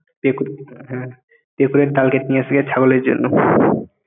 হ্যাঁ ডাল কেটে নিয়ে আসিগে ছাগলের জন্য